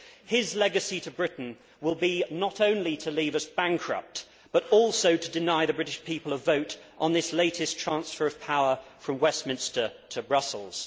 His legacy to Britain will be not only to leave us bankrupt but also to deny the British people a vote on this latest transfer of power from Westminster to Brussels.